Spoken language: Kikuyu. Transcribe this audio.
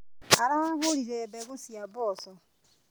Aragũrire mbegũ cia mboco.